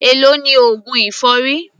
Èló ni oògùn èfọ́rí?